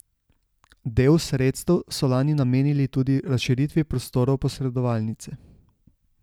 Del sredstev so lani namenili tudi razširitvi prostorov posredovalnice.